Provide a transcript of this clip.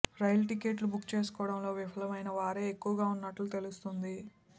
రైలు టికెట్లు బుక్ చేసుకోవడంలో విఫలమైనవారే ఎక్కువగా ఉన్నట్లు తెలుస్తోంది